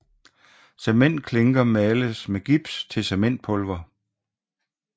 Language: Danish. Cementklinker males med gips til cementpulver